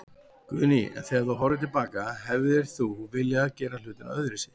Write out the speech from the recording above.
Guðný: En þegar þú horfir til baka, hefðir þú viljað gera hlutina öðruvísi?